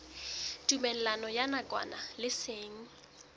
tumellano ya nakwana le seng